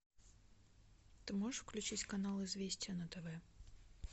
ты можешь включить канал известия на тв